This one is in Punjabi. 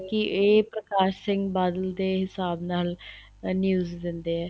ਇਹ ਪ੍ਰਕਾਸ਼ ਸਿੰਘ ਬਾਦਲ ਦੇ ਹਿਸਾਬ ਨਾਲ news ਦਿੰਦੇ ਏ